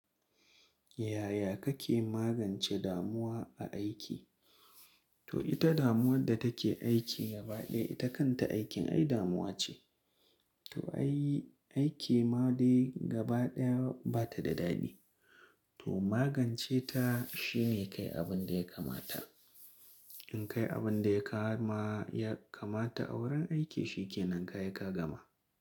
Yaya kake magance damuwa a aiki? To ita damuwar da take aiki gaba ɗaya ita kanta aikin ai damuwa ce. To aiki ma dai gaba ɗaya bata da daɗi. To magance ta shine kai abunda ya kamata. In kai abunda ya kama, ya kamata a wurin aiki shikenan kayi ka gama.